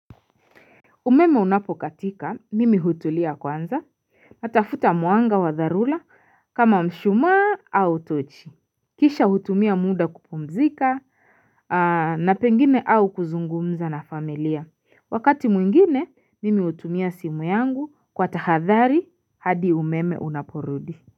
Umeme unapokatika mimi hutulia kwanza natafuta mwanga wa dharula kama mshuma au tochi Kisha hutumia muda kupumzika na pengine au kuzungumza na familia wakati mwingine mimi hutumia simu yangu kwa tahadhari hadi umeme unaporudi.